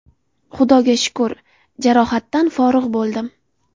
Xudoga shukr, jarohatdan forig‘ bo‘ldim.